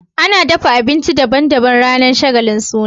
Ana dafa abinci daban daban ranar shagalin suna